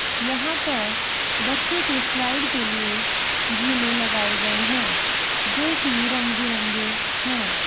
यहाँ पर बच्चों के स्लाइड के लिए झूलें लगाए गए हैं जो की रंग-बिरंगे है।